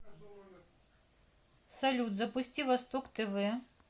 салют запусти восток тв